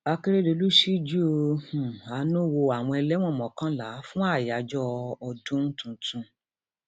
akérèdọlù ṣíjú um àánú wo àwọn ẹlẹwọn mọkànlá fún àyájọ ọdún um tuntun